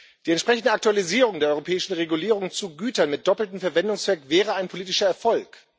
Die entsprechende Aktualisierung der europäischen Regulierung zu Gütern mit doppeltem Verwendungszweck wäre ein politischer Erfolg